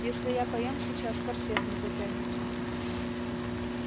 если я поем сейчас корсет не затянется